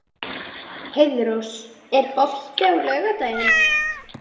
Heiðrós, er bolti á laugardaginn?